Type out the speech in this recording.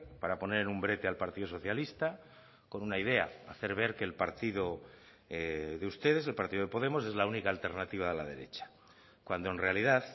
para poner en un brete al partido socialista con una idea hacer ver que el partido de ustedes el partido de podemos es la única alternativa a la derecha cuando en realidad